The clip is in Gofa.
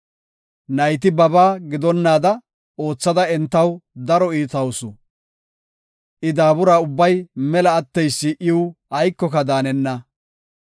Nayti babaa gidonnaada oothada entaw daro iitawusu. I daabura ubbay mela atteysi iw aykoka daanenna.